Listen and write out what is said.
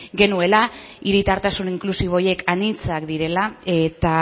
genuela hiritartasun inklusibo horiek anitzak direla eta